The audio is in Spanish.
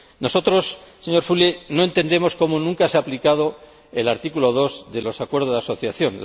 Nosotros, señor Füle, no entendemos cómo no se ha aplicado nunca el artículo 2 de los Acuerdos de asociación.